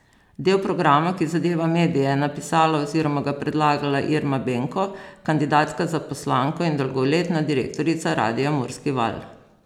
Del programa, ki zadeva medije je napisala oziroma ga predlagala Irma Benko, kandidatka za poslanko in dolgoletna direktorica radia Murski Val.